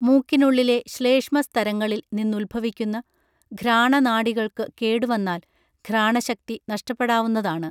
മൂക്കിനുള്ളിലെ ശ്ലേഷ്മ സ്തരങ്ങളിൽ നിന്നുദ്ഭവിക്കുന്ന ഘ്രാണനാഡികൾക്കു കേടുവന്നാൽ ഘ്രാണശക്തി നഷ്ടപ്പെടാവുന്നതാണ്